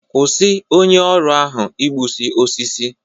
Kwụsi onye ọrụ ahụ igbusi osisi!